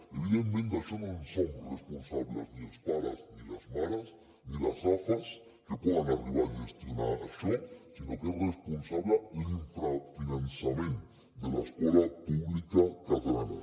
evidentment d’això no en som responsables ni els pares ni les mares ni les afa que poden arribar a gestionar això sinó que és responsable l’infrafinançament de l’escola pública catalana